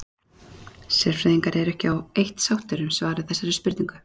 sérfræðingar eru ekki á eitt sáttir um svar við þessari spurningu